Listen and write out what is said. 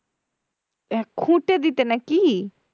আহ খুটে দিতে না কি?